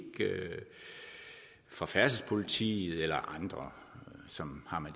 fra færdselspolitiet eller andre som har med